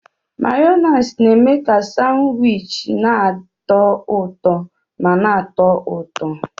Mayonezi na-eme ka Sanwichi na-atọ ụtọ ma na-atọ ụtọ